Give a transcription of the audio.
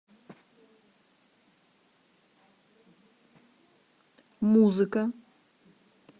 музыка